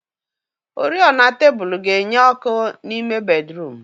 Oriọna tebụl ga-enye ọkụ n'ime bédrụum.